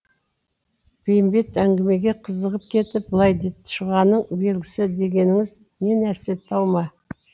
бейімбет әңгімеге қызығып кетіп былай деді шұғаның белгісі дегеніңіз не нәрсе тау ма